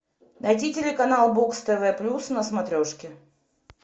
найди телеканал бокс тв плюс на смотрешке